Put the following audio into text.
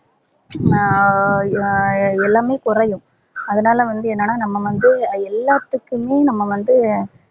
அஹ் எல்லாமே கொறையும் அதுனால வந்து என்னனா நம்ப வந்து எல்லாத்துக்குமே நம்ப வந்து